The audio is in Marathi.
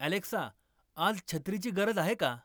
अॅलेक्सा आज छत्रीची गरज आहे का